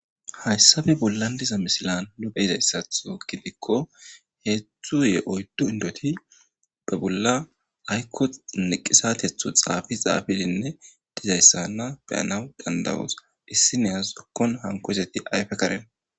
Hayssa bollan diza misilen nu be'ida iza issatho gidikko heezzu ee oyddu indoti ba bolla aykko niqisatetho xaafi xaafidinne diza issanna beyanaw dandayoos. Issi nayes woykko hanko san ayfe karen.